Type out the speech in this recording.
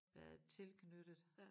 Været tilknyttet